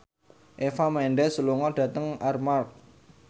Eva Mendes lunga dhateng Armargh